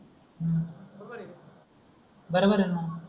बरोबर आहे णा